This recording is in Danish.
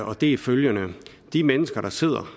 og det er følgende de mennesker der sidder